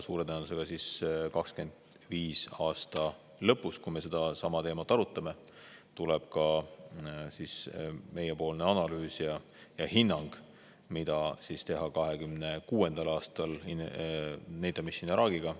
Suure tõenäosusega 2025. aasta lõpus, kui me sedasama teemat arutame, tuleb ka meiepoolne analüüs ja hinnang, mida teha 2026. aastal NATO Mission Iraqiga.